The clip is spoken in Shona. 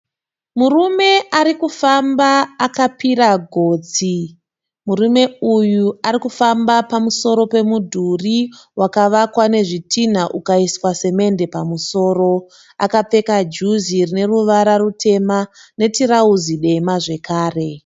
Murume ari kufamba akapira gotsi , murume uyu ari kufamba pamusoro pemudhuri wakavakwa nezvitinha ukaiswa semendi pamusoro, akapfeka juzi rine ruvara rutema netirauzi dema zvekare.